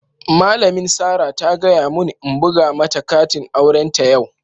Malamin Sarah ta gaya mun n'buga mata katin auren ta yau.